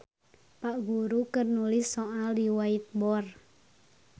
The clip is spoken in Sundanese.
Pak guru keur nulis soal di white board